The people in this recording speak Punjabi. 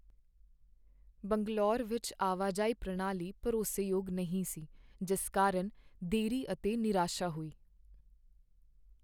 ਬੰਗਲੌਰ ਵਿੱਚ ਆਵਾਜਾਈ ਪ੍ਰਣਾਲੀ ਭਰੋਸੇਯੋਗ ਨਹੀਂ ਸੀ, ਜਿਸ ਕਾਰਨ ਦੇਰੀ ਅਤੇ ਨਿਰਾਸ਼ਾ ਹੋਈ।